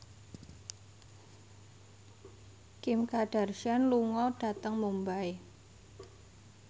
Kim Kardashian lunga dhateng Mumbai